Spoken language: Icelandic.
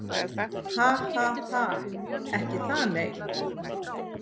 Ha ha ha. Ekki það nei.